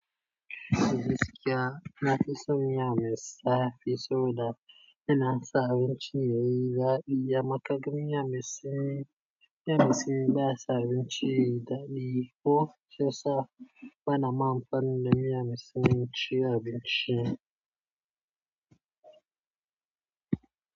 Kai gasƙiya na fi son miya mai, sa fi so da yana sa abinci yayi daɗi. Amma ka ga miya mai sanyi, miya mai sanyi ba sa abinci yayi daɗi ko shiyasa. Bana ma fa ni da miya mai sanyi ci abinci.